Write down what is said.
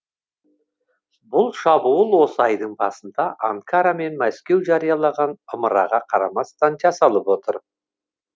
бұл шабуыл осы айдың басында анкара мен мәскеу жариялаған ымыраға қарамастан жасалып отыр